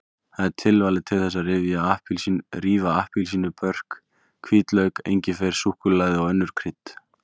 Það er tilvalið til þess að rífa appelsínubörk, hvítlauk, engifer, súkkulaði og önnur krydd.